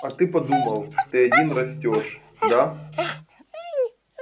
а ты думал ты один растёшь да